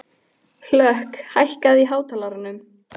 Hlökk, hækkaðu í hátalaranum.